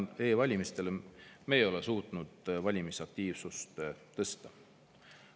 Ehk siis e-valimiste abil me ei ole suutnud valimisaktiivsust tõsta.